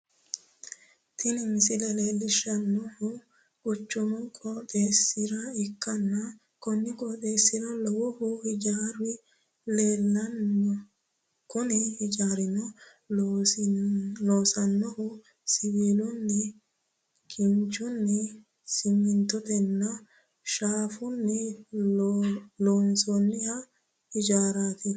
Tini misile leelishanohu quchumu qooxeessa ikkanna konni qooxeesira lowohu hijaari leelano kunne hijaarano loonsoonnihu siwiilunni, kinchunni, siminttotenninna shaafunni loonsoonni hijaaraati.